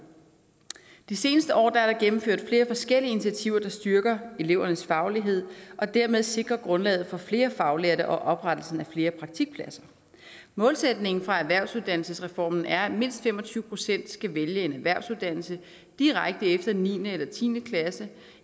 de seneste år er der gennemført flere forskellige initiativer der styrker elevernes faglighed og dermed sikrer grundlaget for flere faglærte og oprettelsen af flere praktikpladser målsætningen fra erhvervsuddannelsesreformen er at mindst fem og tyve procent skal vælge en erhvervsuddannelse direkte efter niende eller tiende klasse